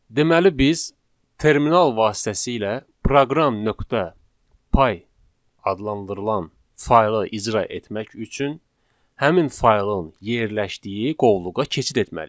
Deməli biz terminal vasitəsilə proqram.py adlandırılan faylı icra etmək üçün həmin faylın yerləşdiyi qovluğa keçid etməliyik.